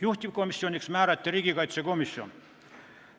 Juhtivkomisjoniks määrati riigikaitsekomisjon.